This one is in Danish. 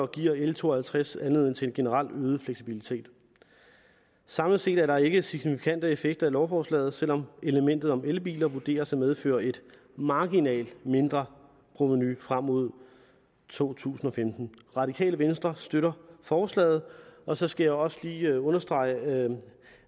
giver l to og halvtreds anledning til en generel øget fleksibilitet samlet set er der ikke signifikante effekter af lovforslaget selv om elementet om elbiler vurderes at medføre et marginalt mindre provenu frem mod to tusind og femten det radikale venstre støtter forslaget og så skal jeg også lige understrege